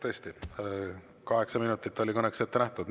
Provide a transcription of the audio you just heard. Tõesti, kaheksa minutit oli kõneks ette nähtud.